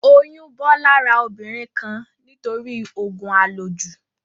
Oyún bọ́ lára obìnrin kan nítorí òògùn à lò jù